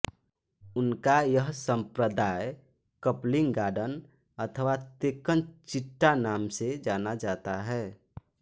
उनका यह संप्रदाय कप्लिंगाडन अथवा तेक्कन चिट्टा नाम से जाना जाता है